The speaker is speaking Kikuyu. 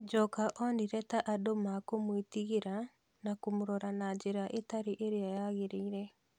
Njoka onire ta andũ mekúmwĩtigĩra na kũmũrora na njĩra ĩtarĩ ĩrĩa yagĩrĩire.